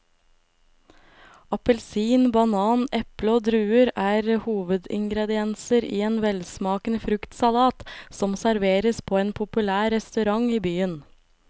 Appelsin, banan, eple og druer er hovedingredienser i en velsmakende fruktsalat som serveres på en populær restaurant i byen.